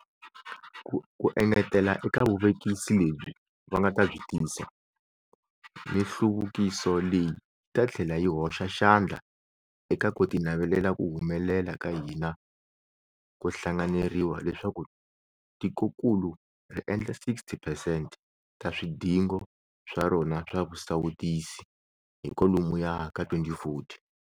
Ku engetela eka vuvekisi lebyi va nga ta byi tisa, mihluvukiso leyi yi ta tlhela yi hoxa xandla eka ku tinavelela ku humelela ka hina ko hlanganeriwa leswaku tikokulu ri endla 60 percent ta swidingo swa rona swa swisawutisi hi kwalomuya ka 2040.